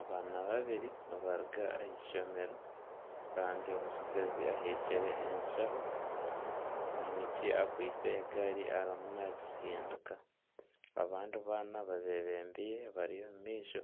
Abaana babiri nibaruga ah’eishomero kandi omutsigazi aheekire eshaho omwishiki akwaitse egaari arimu nagitsindiika abandi baana babebembire bari omu maisho